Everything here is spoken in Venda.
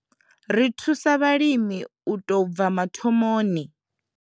Ri thusa vha limi u tou bva mathomoni.